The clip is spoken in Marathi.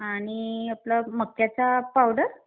आणि आपला मक्याचा पावडर.